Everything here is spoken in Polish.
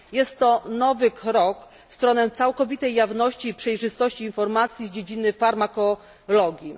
Jest to nowy krok w stronę całkowitej jawności i przejrzystości informacji z dziedziny farmakologii.